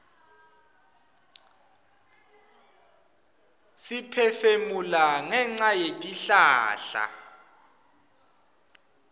siphefumula ngenca yetihlahla